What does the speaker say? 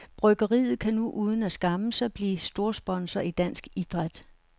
Bryggeriet kan nu uden at skamme sig blive storsponsor i dansk idræt.